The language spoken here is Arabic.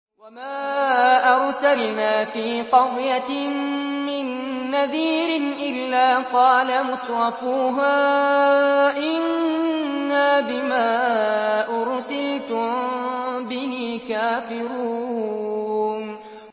وَمَا أَرْسَلْنَا فِي قَرْيَةٍ مِّن نَّذِيرٍ إِلَّا قَالَ مُتْرَفُوهَا إِنَّا بِمَا أُرْسِلْتُم بِهِ كَافِرُونَ